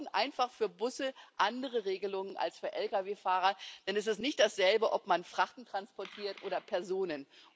Wir brauchen einfach für Busse andere Regelungen als für Lkw Fahrer, denn es ist nicht dasselbe, ob man Frachten transportiert oder Personen.